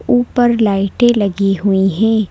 ऊपर लाइटें लगी हुई हैं।